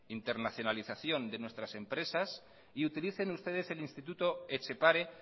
internacionalización de nuestras empresas y utilicen ustedes el instituto etxepare